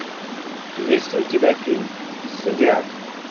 есть ли у тебя фильм зодиак